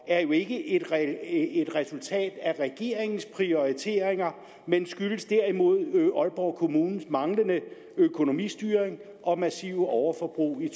er jo ikke et resultat af regeringens prioriteringer men skyldes derimod aalborg kommunes manglende økonomistyring og massive overforbrug i